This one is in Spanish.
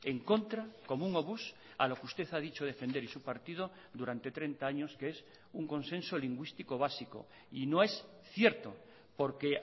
en contra como un obús a lo que usted ha dicho defender y su partido durante treinta años que es un consenso lingüístico básico y no es cierto porque